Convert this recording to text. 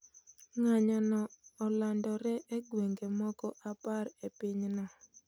Ng'anyo no olandore e gwenge moko apar e pinyno